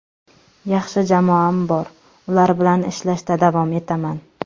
Yaxshi jamoam bor, ular bilan ishlashda davom etaman.